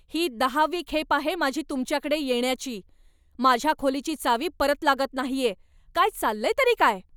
ही दहावी खेप आहे माझी तुमच्याकडे येण्याची. माझ्या खोलीची चावी परत लागत नाहीये. काय चाललंय तरी काय?